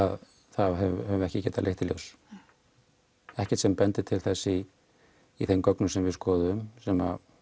það höfum við ekki getað leitt í ljós ekkert sem bendir til þess í í þeim gögnum sem við skoðuðum sem